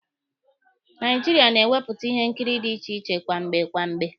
Naijiria na-ewepụta ihe nkiri dị iche iche kwamgbe kwamgbe.